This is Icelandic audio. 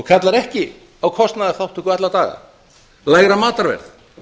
kallar ekki á kostnaðarþátttöku alla daga lægra matarverð